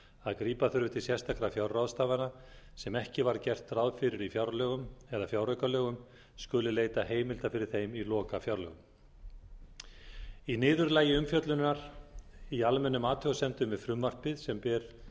að grípa þurfi til sérstakra fjárráðstafana sem ekki var gert ráð fyrir í fjárlögum eða fjáraukalögum skuli leita heimilda fyrir þeim í lokafjárlögum í niðurlagi umfjöllunar í almennum athugasemdum við frumvarpið sem ber